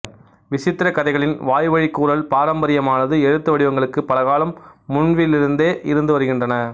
விசித்திரக் கதைகளின் வாய்வழி கூறல் பாரம்பரியமானது எழுத்து வடிவங்களுக்கு பல காலம் முன்பிலிருந்தே இருந்து வருகின்றன